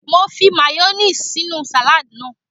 Mo fi mayoníìsì sínú sàládì náà